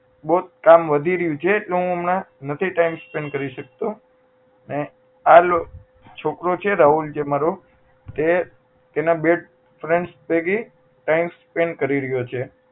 બહુજ કામ વધી રહ્યું છે એટલે એને હું હમણાં નથી time spend કરી શકતો અને આલો છોકરો જે છે રાહુલ અમારો તે તેના બે friends ભેગી time spend કરી રહ્યો છે